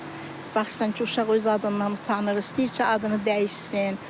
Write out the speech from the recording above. Baxırsan ki, uşaq öz adından utanır, istəyir ki, adını dəyişsin.